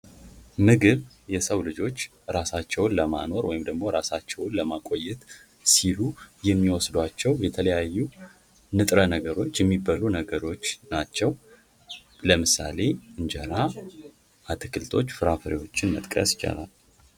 ምግብ የሰው ልጆች ራሳቸውን ለማኖር ወይም ደግሞ ለማቆየት ሲሉ የሚወስዷቸው የተለያዩ ንጥረ ነገሮች የሚበሉ ነገሮች ናቸው ለምሳሌ እንጀራ፥ አትክልቶች ፍራፍሬዎችን መጥቀስ ይቻላል።